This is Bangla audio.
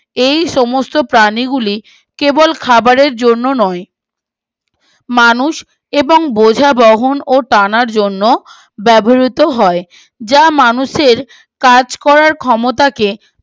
এই সমস্ত প্রাণী গুলি কেবল খাবারের জন্য নয় মানুষ এবং বোঝা বহন ও টানার জন্য ব্যবহিত হয় যা মানুষের কাজ করার ক্ষমতাকে